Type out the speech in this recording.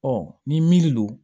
ni min don